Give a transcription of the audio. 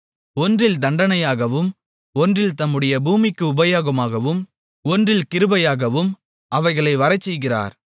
ஒன்றில் தண்டனையாகவும் ஒன்றில் தம்முடைய பூமிக்கு உபயோகமாகவும் ஒன்றில் கிருபையாகவும் அவைகளை வரச்செய்கிறார்